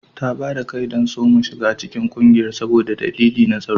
Ta ba da kai don a soma shiga cikin kungiyar saboda dalilai na tsaro